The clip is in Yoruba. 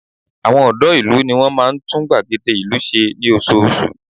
Àwọn ọ̀dọ́ ìlú ní wọn máa ń tún gbàgede ìlú wa ṣe ní oṣooṣù